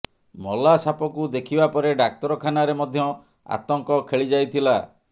ମଲା ସାପକୁ ଦେଖିବା ପରେ ଡାକ୍ତରଖାନାରେ ମଧ୍ୟ ଆତଙ୍କ ଖେଳି ଯାଇଥିଲା